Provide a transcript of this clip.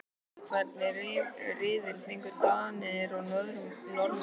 Hvernig riðil fengu Danir og Norðmenn?